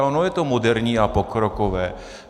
A ono je to moderní a pokrokové.